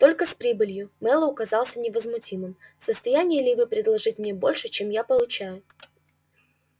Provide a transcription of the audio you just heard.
только с прибылью мэллоу казался невозмутимым в состоянии ли вы предложить мне больше чем я получаю